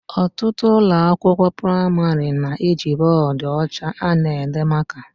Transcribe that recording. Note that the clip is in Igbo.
Ọtụtụ ụlọ akwụkwọ pramarị na eji bọdụ ọcha ana ede maka